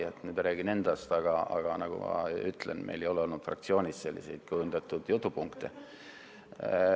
Ma nüüd räägin endast, aga nagu ma ütlesin, meil ei ole fraktsioonis kujundatud jutupunkte.